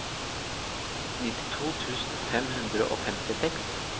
nittito tusen fem hundre og femtiseks